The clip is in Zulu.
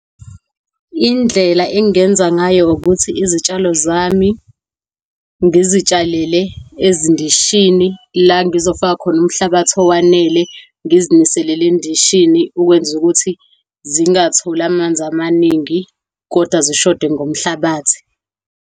Indlela engingenza ngayo ukuthi izitshalo zami ngizitshalele ezindishini, la ngizofaka khona umhlabathi owanele, ngizinilisele endishini, ukwenza ukuthi zingatholi amanzi amaningi, kodwa zishode ngomhlabathi.